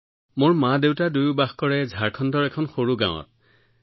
ঝাৰখণ্ডত চেৰাইকেলা নামৰ এখন সৰু গাওঁ আছে যত মোৰ মাদেউতা দুয়ো বাস কৰে